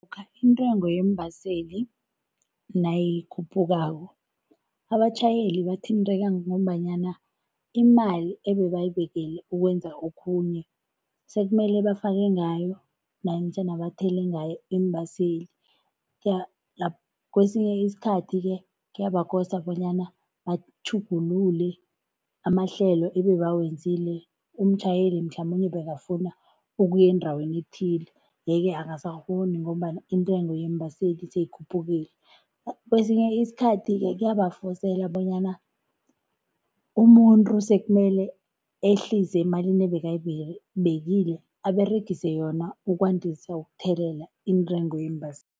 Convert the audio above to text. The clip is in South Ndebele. Lokha intengo yeembaseli nayikhuphukako, abatjhayeli bathinteka ngombanyana imali ebebayibekele ukwenza okhunye sekumele bafake ngayo namtjhana bathele ngayo iimbaseli Kwesinye isikhathi-ke kuyabakosa bonyana batjhugulule amahlelo ebebawenzile, umtjhayeli mhlamunye bekafuna ukuya endaweni ethile yeke akasakghoni ngombana intengo yeembaseli seyikhuphukile. Kesinye isikhathi-ke kuyabafosela bonyana umuntu sekumele ehlise emalini ebekayibekile aberegise yona ukwandisa ukuthelela iintengo